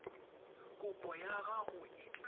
kopo ya gago e tla